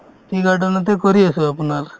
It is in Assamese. tea garden তে কৰি আছো আপোনাৰ